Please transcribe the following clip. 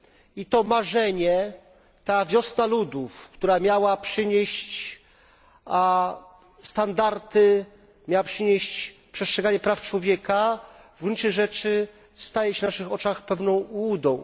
I to marzenie, ta Wiosna Ludów, która miała przynieść standardy, przestrzeganie praw człowieka, w gruncie rzeczy staje się na naszych oczach pewną ułudą.